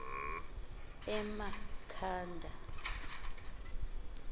emakhanda